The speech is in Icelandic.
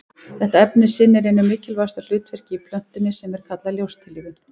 Þetta efni sinnir einu mikilvægasta hlutverkinu í plöntunni sem er kallað ljóstillífun.